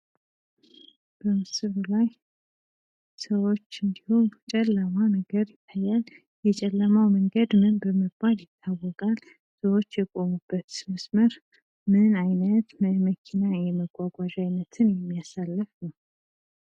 በምስሉ ላይ ሰዎች እንዲሁም ጨለማ ነገር ይታያል። የጨለማ መንገድ ምን በመባል ይታወቃል? ሰዎች የቆሙበትስ መስመር ምን አይነት የመኪና ወይም ተሽከርካሪ አይነቶችን የሚያሳልፍ ነው።